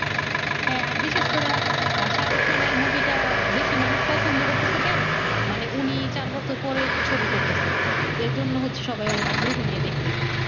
হ্যা আর বিশ্বেস করে আহ শাহরুখ খানের মুভি টা বেশি মানুষ প্ছন্দ করতেছে কেন মানে উনি চার বছর পরে ছবি করতেছে এই জন্য হচ্ছে সবাই আগ্রহ নিয়ে দেখতেছে